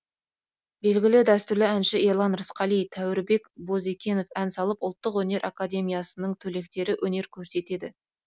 белгілі дәстүрлі әнші ерлан рысқали тәуірбек бозекенов ән салып ұлттық өнер академиясының түлектері өнер көрсетеді